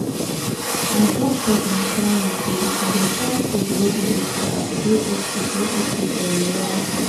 my doctor been tell me say if i dey chop food wey dey okay i go dey okay dey okay for a long time